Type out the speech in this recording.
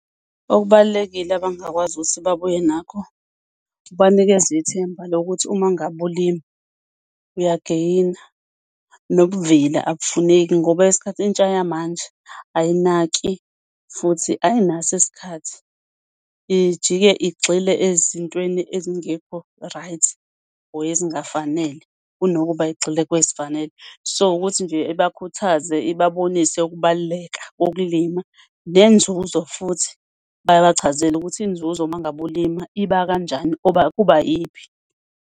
Okubalulekile abangakwazi ukuthi babuye nakho, ubanikeza ithemba lokuthi uma ngabe ulima uyagayina, nobuvila abufuneki, ngoba isikhathi intsha yamanje ayinaki futhi ayinaso isikhathi. Ijike igxile ezintweni ezingekho right or ezingafanele kunokuba igxile kwezifanele. So, ukuthi nje ibakhuthaze ibabonise ukubaluleka kokulima nenzuzo futhi babachazele ukuthi inzuzo uma ngabe ulima iba kanjani oba kuba iyiphi?